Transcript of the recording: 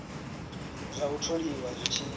zwa u tholiwa zwi tshi